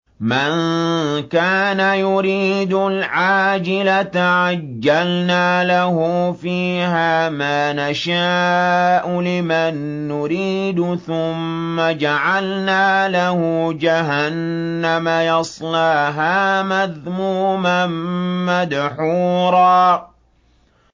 مَّن كَانَ يُرِيدُ الْعَاجِلَةَ عَجَّلْنَا لَهُ فِيهَا مَا نَشَاءُ لِمَن نُّرِيدُ ثُمَّ جَعَلْنَا لَهُ جَهَنَّمَ يَصْلَاهَا مَذْمُومًا مَّدْحُورًا